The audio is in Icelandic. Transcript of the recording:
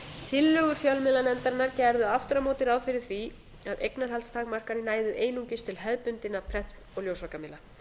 tillögur fjölmiðlanefndarinnar gerðu aftur á móti ráð fyrir því að eignarhaldstakmarkanir næðu einungis til hefðbundinna prent og ljósvakamiðla